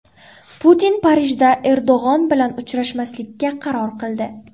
Putin Parijda Erdo‘g‘on bilan uchrashmaslikka qaror qildi.